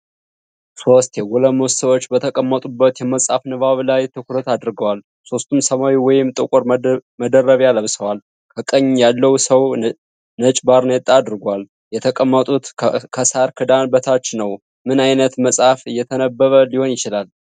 ሶስት የጎለመሱ ሰዎች በተቀመጡበት የመጽሐፍ ንባብ ላይ ትኩረት አድርገዋል። ሦስቱም ሰማያዊ ወይም ጥቁር መደረቢያ ለብሰዋል። ከቀኝ ያለው ሰው ነጭባርኔጣ አድርጓል፣ የተቀመጡትም ከሳር ክዳን በታች ነው። ምን ዓይነት መጽሐፍ እየተነበበ ሊሆን ይችላል?